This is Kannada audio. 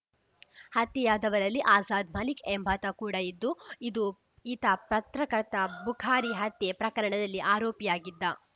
ಹತ್ಯೆಯಾದವರಲ್ಲಿ ಆಜಾದ್‌ ಮಲಿಕ್‌ ಎಂಬಾತ ಕೂಡ ಇದ್ದುಇದು ಈತ ಪತ್ರಕರ್ತ ಬುಖಾರಿ ಹತ್ಯೆ ಪ್ರಕರಣದಲ್ಲಿ ಆರೋಪಿಯಾಗಿದ್ದ